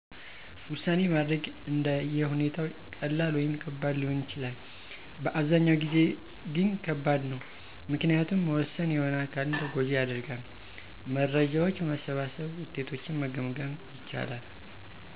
ዉሳኔ ማድረግ አንደ የሁኔታው ቀላል ወይም ከባድ ሊሆን ይችላል፤ በአብዛኛው ጊዜ ግ ከባድ ነው፤ ምክንያቱም መወሠን የሆነ አካልን ተጎጂ ያደርጋል። መረጃዎች በመሠብሠብ ውጤቶችን መገምገም ይቻላል።